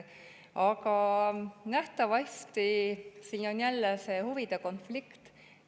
Aga nähtavasti on siin jälle see huvide konflikt.